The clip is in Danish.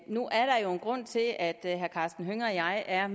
nu er der jo en grund til at herre karsten hønge og jeg er